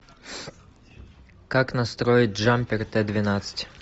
как настроить джампер т двенадцать